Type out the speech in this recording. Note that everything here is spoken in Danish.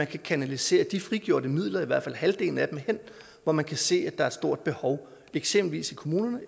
kan kanalisere de frigjorte midler i hvert fald halvdelen af dem hen hvor man kan se at der er et stort behov eksempelvis i kommunerne